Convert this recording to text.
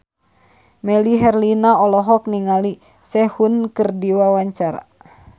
Melly Herlina olohok ningali Sehun keur diwawancara